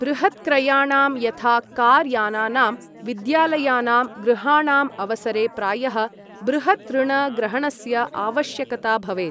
बृहत्क्रयणां यथा कार् यानानां, विद्यालयानां, गृहाणाम्, अवसरे प्रायः बृहत् ऋण ग्रहणस्य आवश्यकता भवेत्।